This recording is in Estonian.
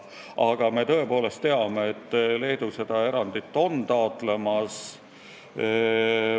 Aga me tõepoolest teame, et Leedu on hakanud seda erandit taotlema.